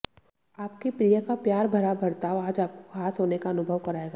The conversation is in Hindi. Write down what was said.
आपके प्रिय का प्यार भरा बर्ताव आज आपको खास होने का अनुभव कराएगा